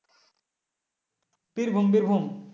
birbhumbirbhum